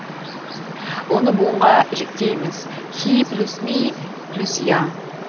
оны буынға жіктейміз хи плюс ми плюс я